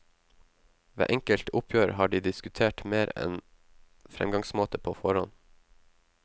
Ved enkelte oppgjør har de diskutert mer enn fremgangsmåte på forhånd.